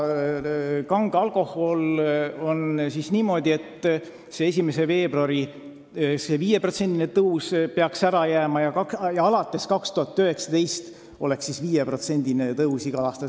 Kange alkoholiga oleks niimoodi, et 1. veebruaril jääks 5%-line tõus ära ja alates aastast 2019 oleks 5%-line tõus igal aastal.